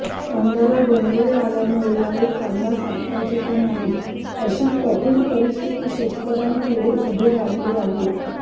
कांद्याला डोंगळे आल्यामुळे यावेळी कांदा साठवायचे का नाही अशी कठिक परिस्थिती शेतकऱ्यांनपुढे उभे राहिलेले आहे